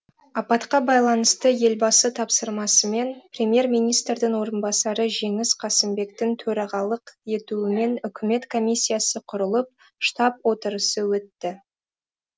апатқа байланысты елбасы тапсырмасымен премьер министрдің орынбасары жеңіс қасымбектің төрағалық етуімен үкімет комиссиясы құрылып штаб отырысы өтті